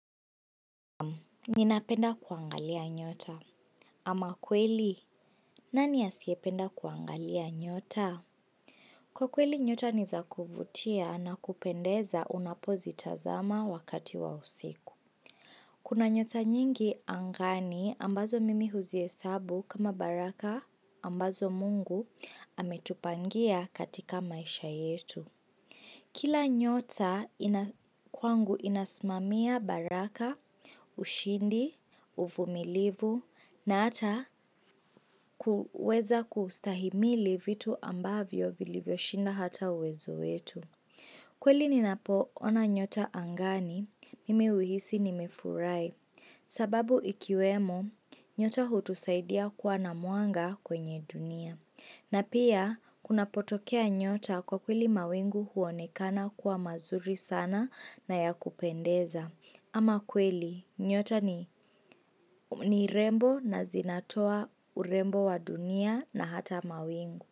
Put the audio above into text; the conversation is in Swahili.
Ninapenda kuangalia nyota. Ama kweli, nani asiyependa kuangalia nyota? Kwa kweli nyota ni za kuvutia na kupendeza unapozitazama wakati wa usiku. Kuna nyota nyingi angani ambazo mimi huzihesabu kama baraka ambazo mungu ametupangia katika maisha yetu. Kila nyota kwangu inasimamia baraka, ushindi, uvumilivu, na ata kuweza kustahimili vitu ambavyo vilivyoshinda hata uwezo wetu. Kweli ninapo ona nyota angani, mimi huhisi nimefurahi. Sababu ikiwemo, nyota hutusaidia kuwa na mwanga kwenye dunia. Na pia, kunapotokea nyota kwa kweli mawingu huonekana kuwa mazuri sana na ya kupendeza. Ama kweli, nyota ni rembo na zinatoa urembo wa dunia na hata mawingu.